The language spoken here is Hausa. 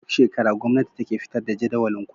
Duk shekara gwamnati take fitar da jadawalin kudi